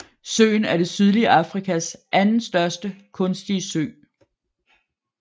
Søen er det sydlige Afrikas andenstørste kunstige sø